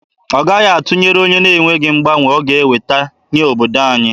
Ọ gaghị atụnyere onye na-enweghị mgbanwe ọ ga-eweta nye obodo anyị.